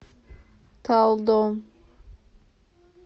талдом